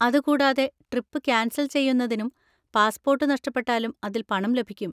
അത് കൂടാതെ, trip cancel ചെയ്യുന്നതിനും പാസ്പോർട്ട് നഷ്ടപ്പെട്ടാലും അതിൽ പണം ലഭിക്കും.